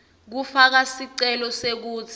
kufaka sicelo sekutsi